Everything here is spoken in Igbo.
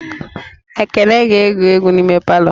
Ekene ga-ege egwu n'ime palọ